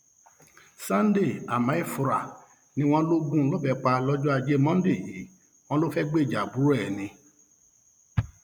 sunday amaefura ni wọn lọ gún un lọbẹ pa lọjọ ajé monde yìí wọn lọ fẹẹ gbèjà àbúrò ẹ ni